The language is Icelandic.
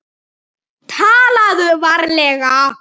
TALAÐU VARLEGA